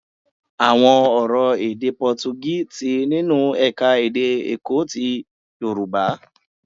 Àwọn ọ̀rọ̀ èdè Pọtugí ti nínú ẹ̀ka-èdè Èkó ti Yorùbá.